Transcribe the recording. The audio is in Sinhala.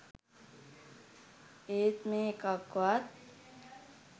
ඒත් මේ එකක්වත්